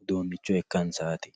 uduuncho ikkansati.